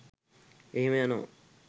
එහෙම යනව